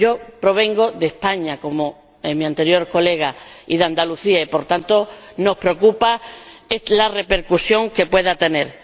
Yo provengo de España, como mi anterior colega, y de Andalucía, y, por tanto, nos preocupa la repercusión que pueda tener.